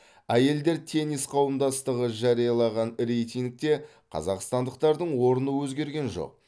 әйелдер теннис қауымдастығы жариялаған рейтингте қазақстандықтардың орны өзгерген жоқ